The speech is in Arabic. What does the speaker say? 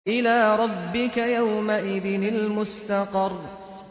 إِلَىٰ رَبِّكَ يَوْمَئِذٍ الْمُسْتَقَرُّ